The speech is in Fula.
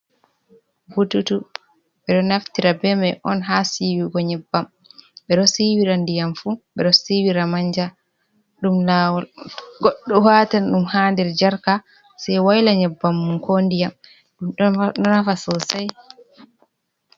Bututu ɓe ɗo naftira be mai on ha siwigo nyebbam, ɓe ɗo siwira ndiyam fu ɓe ɗo siwira manja, ɗum lawol goɗɗo watan ɗum ha nder jarka sai wayla nyebbam mum ko ndiyam ɗum ɗo nafa sosai.